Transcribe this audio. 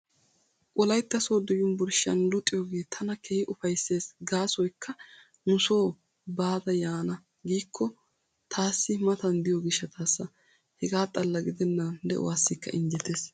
Wolaytta sooddo yunvurshiyan luxiyoogee tana keehi ufayssees gaasoykka nu Soo baada yaana giikko taassi matan diyo gishshataassa. Hegaa xalla gidennan de"uwaassikka injjetees.